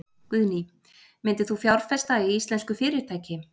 Guðný: Myndir þú fjárfesta í íslensku fyrirtæki?